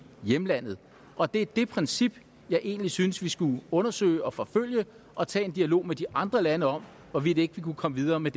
hjemlandet og det er det princip jeg egentlig synes vi skulle undersøge og forfølge og tage en dialog med de andre lande om hvorvidt vi kunne komme videre med